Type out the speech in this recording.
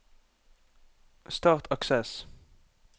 start Access